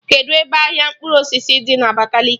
Kedụ ebe ahịa mkpụrụ osisi dị na Abakaliki?